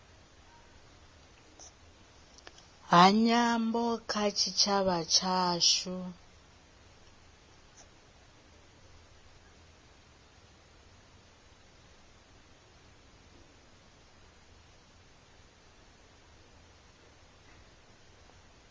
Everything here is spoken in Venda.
ha nyambo kha tshitshavha tshashu